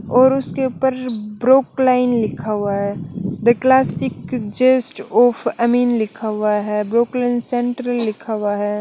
और उसके ऊपर रु ब्रुक लाइन लिखा हुआ हैं दे क्लासिक जस्ट ऑफ़ अमिन लिखा हुआ हैं ब्रुक लाइन सेण्टर लिखा हुआ हैं ।